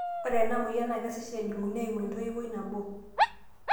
ore ena moyian naa kesesh ejunguni eimu entoiwoi nabo